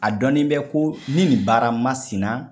A dɔni b ko ni nin baara masina